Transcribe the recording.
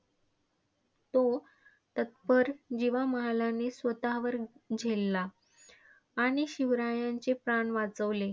तो तत्पर जीवा महालाने स्वतःवर झेलला. आणि शिवरायांचे प्राण वाचवले.